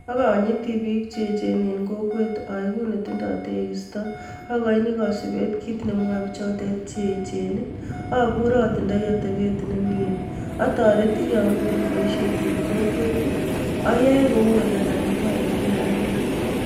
Okonyiti piik cheechen en kokwet oegu netindo tekisto, akoini kosipeet kiit nememoe pichotet cheechen, opure otindoi otepeet nemie, otoreti yomiten boisiet en kokwet, oyoe kou olekakimwa en kila ak kila.